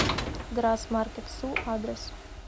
грасс маркетсу адрес